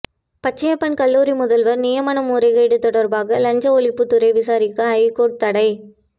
பச்சையப்பன் கல்லூரி முதல்வர் நியமன முறைகேடு தொடர்பாக லஞ்ச ஒழிப்புத்துறை விசாரிக்க ஐகோர்ட் தடை